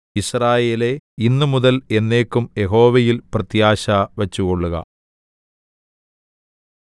യിസ്രായേലേ ഇന്നുമുതൽ എന്നേക്കും യഹോവയിൽ പ്രത്യാശ വച്ചുകൊള്ളുക